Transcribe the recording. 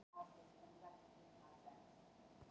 Var hann að verða vitlaus?